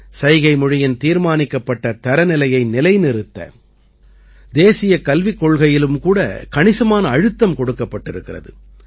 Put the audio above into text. சைகைமொழியின் தீர்மானிக்கப்பட்ட தரநிலையை நிலைநிறுத்த தேசியக் கல்விக்கொள்கையிலும் கூட கணிசமான அழுத்தம் கொடுக்கப்பட்டிருக்கிறது